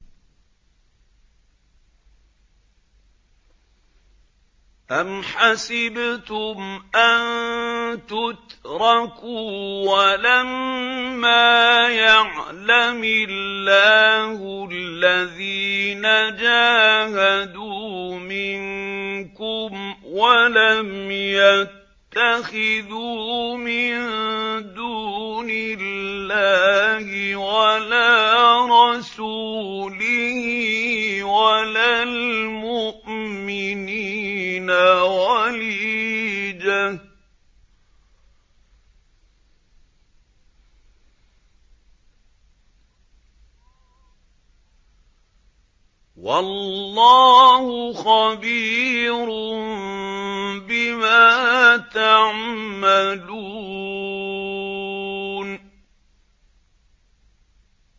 أَمْ حَسِبْتُمْ أَن تُتْرَكُوا وَلَمَّا يَعْلَمِ اللَّهُ الَّذِينَ جَاهَدُوا مِنكُمْ وَلَمْ يَتَّخِذُوا مِن دُونِ اللَّهِ وَلَا رَسُولِهِ وَلَا الْمُؤْمِنِينَ وَلِيجَةً ۚ وَاللَّهُ خَبِيرٌ بِمَا تَعْمَلُونَ